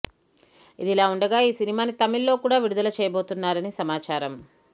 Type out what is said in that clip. ఇదిలా ఉండగా ఈ సినిమాని తమిళ్లో కూడా విడుదల చేయబోతున్నారని సమాచారం